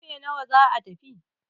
karfe nawa za a tafi?